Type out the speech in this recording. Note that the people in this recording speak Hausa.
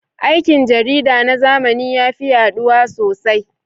Aikin jarida na zamani ya fi yaɗuwa sosai.